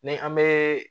Ni an bee